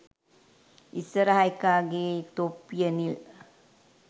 ඉස්සරහ එකාගෙ තොප්පිය නිල්